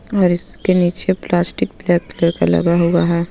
और इसके नीचे प्लास्टिक बेग लगा हुआ है.